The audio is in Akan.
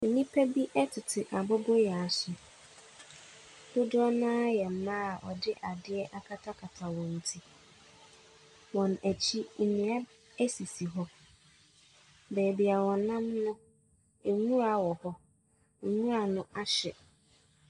Nnipa bi tete aboboyaa so. Dodoɔ no ara a yɛ mmaa a wɔde adeɛ akatakata wɔ ti. Wɔn akyi, nnua sisi hɔ. Baabi a wɔnam no, nwura wɔ hɔ. Nwura no ahye.